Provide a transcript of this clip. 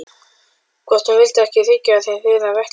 Hvort hún vildi ekki þiggja af þeim þurra vettlinga.